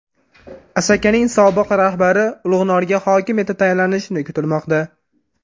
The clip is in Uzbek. Asakaning sobiq rahbari Ulug‘norga hokim etib tayinlanishi kutilmoqda.